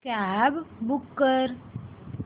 cab book कर